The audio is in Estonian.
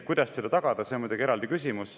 Kuidas seda tagada, see on muidugi eraldi küsimus.